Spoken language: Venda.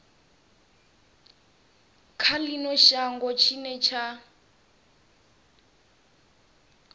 kha ino shango tshine tsha